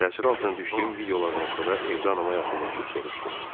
Təəssür altına düşdüyüm videolardan sonra evdə anama yaxınlaşıb soruşdum.